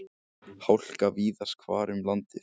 Hálka víðast hvar um landið